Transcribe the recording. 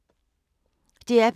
DR P2